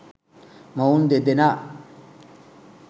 මොවුන් දෙදෙනා